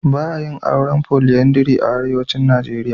Ba a yin auren polyandry a arewacin Nijeriya.